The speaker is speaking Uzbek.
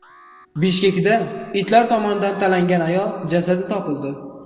Bishkekda itlar tomonidan talangan ayol jasadi topildi.